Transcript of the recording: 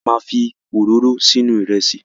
A ma fi òróró sínú Ìrẹ́sì